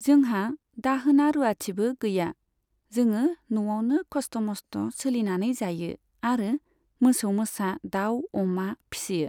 जोंहा दाहोना रुवाथिबो गैया। जोङो न'आवनो खस्थ' मस्थ' सोलिनानै जायो आरो मोसौ मोसा, दाउ अमा फिसियो।